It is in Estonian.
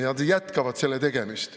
Ja nad jätkavad selle tegemist.